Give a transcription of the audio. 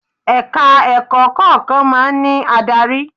Ẹ̀ka ẹ̀kọ́ kọ̀ọ̀kan máa ń ní adarí.